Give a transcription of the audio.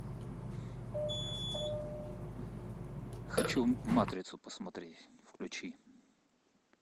хочу матрицу посмотреть включи